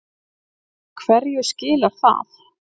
Hverju skilar það?